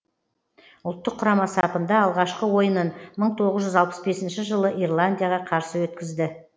ұлттық құрама сапында алғашқы ойынын мың тоғыз жүз алпыс бесінші жылы ирландияға қарсы өткізді